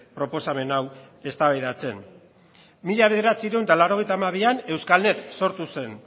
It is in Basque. proposamen hau eztabaidatzea mila bederatziehun eta laurogeita hamabian euskalnet sortu zen